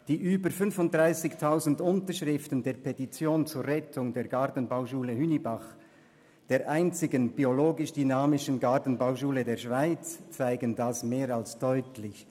Die über 35 000 Unterschriften der Petition zur Rettung der Gartenbauschule Hünibach, der einzigen biologisch-dynamischen Gartenbauschule der Schweiz, zeigen dies mehr als deutlich.